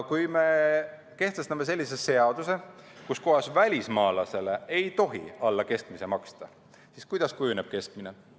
Kui me kehtestame seadusega, kus kohas välismaalasele ei tohi alla keskmise maksta, siis kuidas kujuneb keskmine?